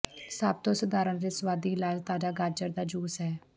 ਸਭ ਤੋਂ ਸਧਾਰਨ ਅਤੇ ਸੁਆਦੀ ਇਲਾਜ ਤਾਜ਼ਾ ਗਾਜਰ ਦਾ ਜੂਸ ਹੈ